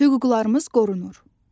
Hüquqlarımız qorunur.